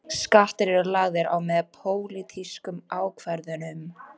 Skattar eru lagðir á með pólitískum ákvörðunum.